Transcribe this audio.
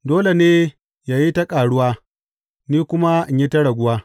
Dole ne yă yi ta ƙaruwa, ni kuma in yi ta raguwa.